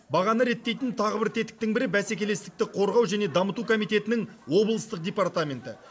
бағаны реттейтін тағы бір тетіктің бірі бәсекелестікті қорғау және дамыту комитетінің облыстық департаменті